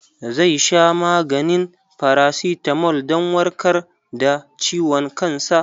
Zai sha maganin farasitamol dan warkar da ciwon kansa.